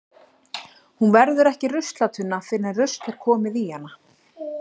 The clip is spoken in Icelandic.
Hún verður ekki ruslatunna fyrr en rusl er komið í hana.